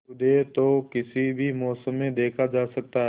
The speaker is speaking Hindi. सूर्योदय तो किसी भी मौसम में देखा जा सकता है